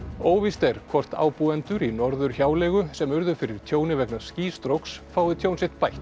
óvíst er hvort ábúendur í Norðurhjáleigu sem urðu fyrir tjóni vegna fá tjón sitt bætt